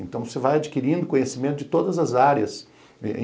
Então, você vai adquirindo conhecimento de todas as áreas.